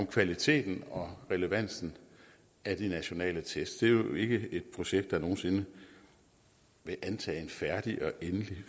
kvaliteten og relevansen af de nationale tests det er jo ikke et projekt der nogensinde vil antage en færdig og endelig